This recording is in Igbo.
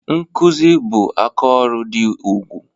Nkụzi bụ aka ọrụ dị ugwu